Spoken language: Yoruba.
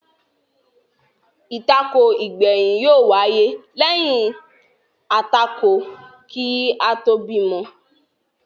Àtakò igbẹyin yó wáyé lẹyìn àtakò kí a tóò bímọ